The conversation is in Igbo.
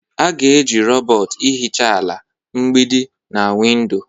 A ga-eji rọbọt ihicha ala, mgbidi, na windo.